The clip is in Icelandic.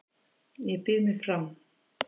Ég býð mig fram